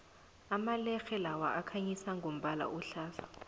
amalerhe lawa akhanyisa ngombala ohlaza